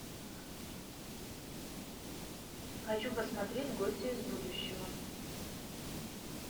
хочу посмотреть гости из будущего